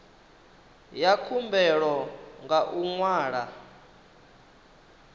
ya khumbelo nga u ṅwala